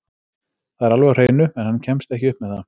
Það er alveg á hreinu, en hann kemst ekki upp með það.